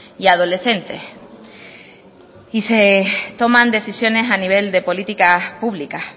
y adolescentes y se toman decisiones a nivel de políticas públicas